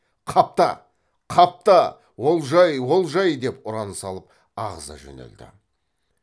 қапта қапта олжай олжай деп ұран салып ағыза жөнелді